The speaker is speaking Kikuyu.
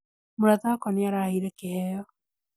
Mũrata wakwa nĩaraheire kĩheo